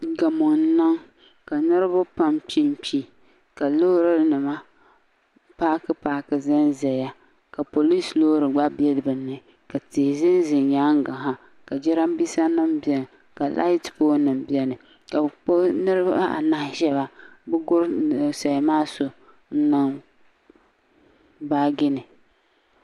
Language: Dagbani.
Gamo n niŋ ka niinriba pam kpi n kpi ka loorinima paaki paaki ʒɛn ʒɛya ka poliisi loori gba be bɛ ni ka tihi ʒɛn ʒɛ nyaanga ha ka jirambiisanima beni ka laati poolinima beni ka bɛ kpuɣi niriba anahi shɛba bɛ guri ninsali maa so n niŋ baagi ni.